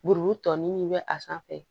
Buru tɔ min bɛ a sanfɛ